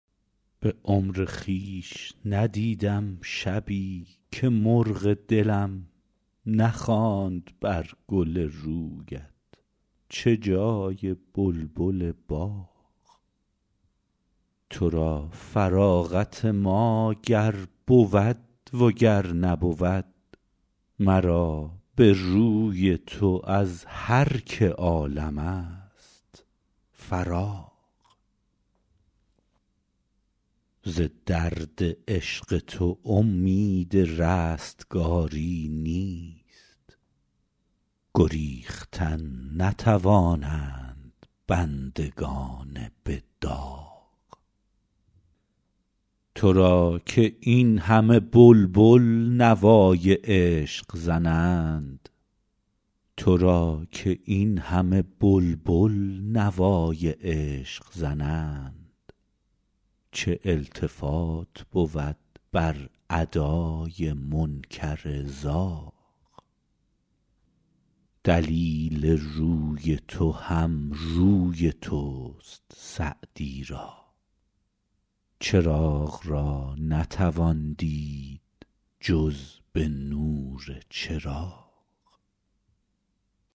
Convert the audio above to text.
به عمر خویش ندیدم شبی که مرغ دلم نخواند بر گل رویت چه جای بلبل باغ تو را فراغت ما گر بود و گر نبود مرا به روی تو از هر که عالم ست فراغ ز درد عشق تو امید رستگاری نیست گریختن نتوانند بندگان به داغ تو را که این همه بلبل نوای عشق زنند چه التفات بود بر ادای منکر زاغ دلیل روی تو هم روی توست سعدی را چراغ را نتوان دید جز به نور چراغ